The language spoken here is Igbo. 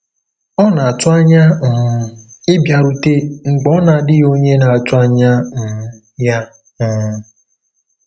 Ọ na-atụ anya um ịbịarute mgbe ọ na-adịghị onye na-atụ anya um ya. um